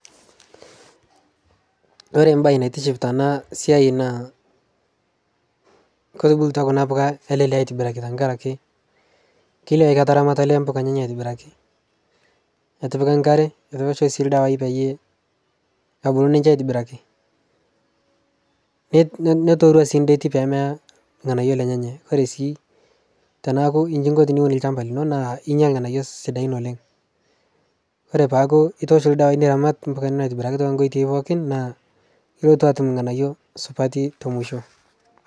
Ore embaye naitiship tena siai naa ketubulutua kuna puka ele lee aitobiraki tenkaraki kelio ketaramata olee mpuka enyenak aitobiraki etipika enkare etoosho sii iladawai peyie ebulu ninche aitobiraki netooruo sii enterit pee meya irng'anayio lenyenak ore sii teneeku inji inko teniun olchamba lino ninya irng'anayio sidan, ore peeku itoosho idawai niramat ompaka nilo aitobiraki toonkoitoi pookin naa kiloito atum irng'anayio supati te musho.